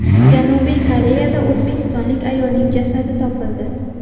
Janubiy Koreyada o‘zbekistonlik ayolning jasadi topildi.